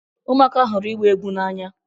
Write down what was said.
Ụmụaka hụrụ ịgba egwu n'anya.